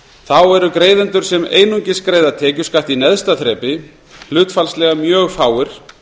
þá eru greiðendur sem einungis greiða tekjuskatt í neðsta þrepi hlutfallslega mjög fáir